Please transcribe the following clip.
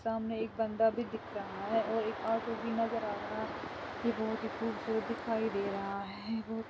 सामने एक बंदा भी दिख रहा है और एक ऑटो भी नजर आ रहा है ये बहुत ही खूबसूरत दिखाई दे रहा है बहुत --